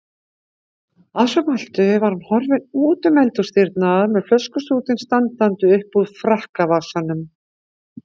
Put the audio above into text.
Að svo mæltu var hann horfinn útum eldhúsdyrnar með flöskustútinn standandi uppúr frakkavasanum.